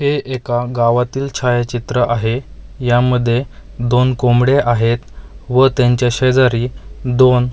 हे एका गावातील छायाचित्र आहे यामध्ये दोन कोंबडे आहेत व त्यांच्या शेजारी दोन --